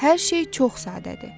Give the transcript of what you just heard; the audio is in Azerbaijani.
Hər şey çox sadədir.